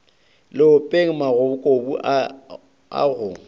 leopeng magokobu a a go